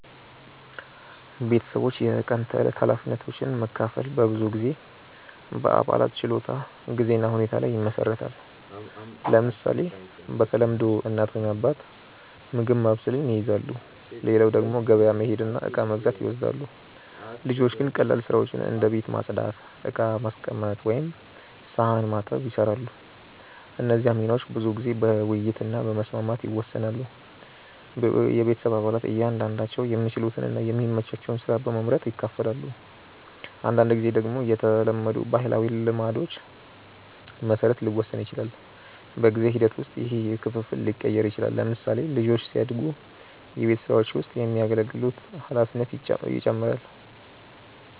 ቤተሰቦች የቀን ተዕለት ኃላፊነቶችን መካፈል በብዙ ጊዜ በአባላት ችሎታ፣ ጊዜ እና ሁኔታ ላይ ይመሰረታል። ለምሳሌ፣ በተለምዶ እናት ወይም አባት ምግብ ማብሰልን ይይዛሉ፣ ሌላው ደግሞ ገበያ መሄድ እና እቃ መግዛት ይወስዳል። ልጆች ግን ቀላል ስራዎችን እንደ ቤት ማጽዳት፣ ዕቃ ማስቀመጥ ወይም ሳህን መታጠብ ይሰራሉ። እነዚህ ሚናዎች ብዙ ጊዜ በውይይት እና በመስማማት ይወሰናሉ። ቤተሰብ አባላት እያንዳንዳቸው የሚችሉትን እና የሚመቻቸውን ስራ በመመርጥ ይካፈላሉ። አንዳንድ ጊዜ ደግሞ በተለመዱ ባህላዊ ልማዶች መሰረት ሊወሰን ይችላል። በጊዜ ሂደት ውስጥ ይህ ክፍፍል ሊቀየር ይችላል። ለምሳሌ፣ ልጆች ሲያድጉ በቤት ስራዎች ውስጥ የሚያገለግሉት ኃላፊነት ይጨምራል።